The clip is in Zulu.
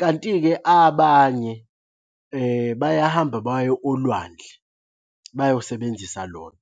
Kanti-ke abanye bayahamba baye olwandle bayosebenzisa lona.